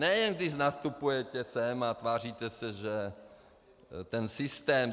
Nejen když nastupujete sem a tváříte se, že ten systém...